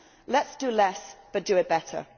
Let us do less, but do it better.